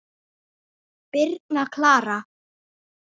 Birna Klara.